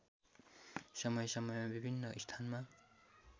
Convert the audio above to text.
समयसमयमा विभिन्न स्थानमा